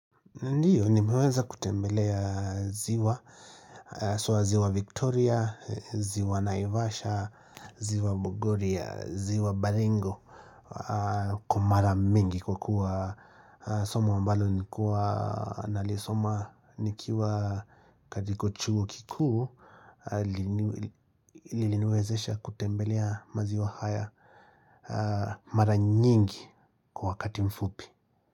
Ndiyo, nimeweza kutembelea ziwa, swa ziwa Victoria, ziwa Naivasha, ziwa Bogoria, ziwa Baringo kwa mara mingi kwa kuwa somo mbalo nilikuwa nalisoma nikiwa katika chuo kikuu ilinwezesha kutembelea maziwa haya mara nyingi kwa wakati mfupi.